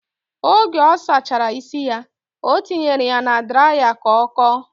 Oge ọ sachara isi ya, o tinyere ya na draịya ka ọ kọọ.